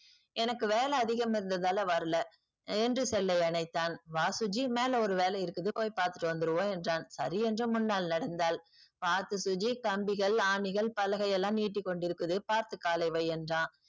எனக்கு வேல அதிகம் இருந்ததால வரல என்று cell ஐ அணைத்தான். வா சுஜி மேல ஒரு வேல இருக்குது போய் பாத்துட்டு வந்துருவோம் என்றான் சரி என்ற முன்னாள் நடந்தால் பாத்து சுஜி கம்பிகள் ஆணிகள் பலகை எல்லாம் நீட்டிக்கொண்டு இருக்குது பாத்து காலை வை என்றான்.